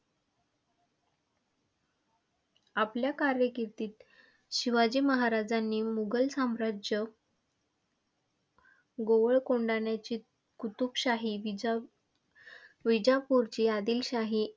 आपल्या कार्यकिर्दीत शिवाजी महाराजांनी मुघल साम्राज्य, गोवळ कोंढाण्याची कुतुबशाही, विजाविजापूरची आदिलशाही.